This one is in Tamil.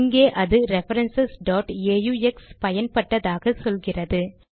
இங்கே அது ரெஃபரன்ஸ் aux பயன்பட்டதாக சொல்கிறது